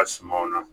A sumaw na